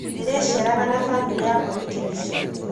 Ndĩrĩceeraga na bamĩrĩ yakwa wikendi ciothe.